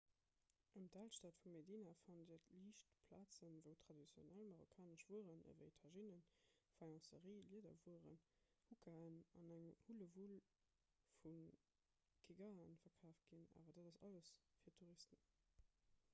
ëm d'alstad vu medina fannt dir liicht plazen wou traditionell marokkanesch wueren ewéi tajinnen faïencerie liederwueren hukaen an eng hullewull vu geegaen verkaaft ginn awer dat ass alles fir touristen